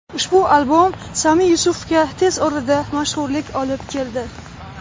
Ushbu albom Sami Yusufga tez orada mashhurlik olib keldi.